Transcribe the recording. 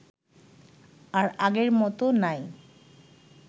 আর আগের মত নাই